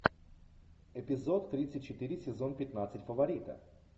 эпизод тридцать четыре сезон пятнадцать фаворита